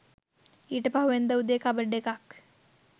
ඊට පහුවෙනිදා උදේ කබඩ් එකක්